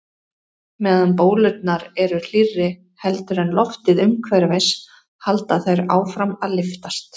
Meðan bólurnar eru hlýrri heldur en loftið umhverfis halda þær áfram að lyftast.